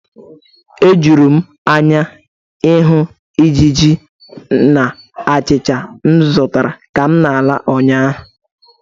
O juru m anya ịhụ ijiji na achịcha m zụtara ka m na-ala ụnyaahụ.